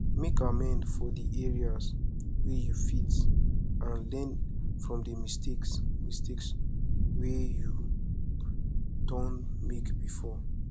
make amend for di areas wey you fit and learn from di mistakes mistakes wey you don make before